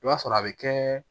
I b'a sɔrɔ a bɛ kɛ